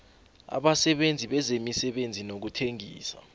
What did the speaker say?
abasebenzi bezemisebenzi nokuthengisa